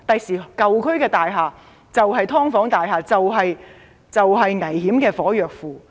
將來舊區的大廈就是"劏房"大廈，就是危險的"火藥庫"。